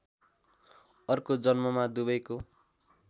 अर्को जन्ममा दुवैको